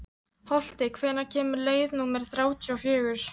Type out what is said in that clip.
Holti, hvenær kemur leið númer þrjátíu og fjögur?